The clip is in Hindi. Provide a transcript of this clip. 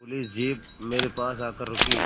पुलिस जीप मेरे पास आकर रुकी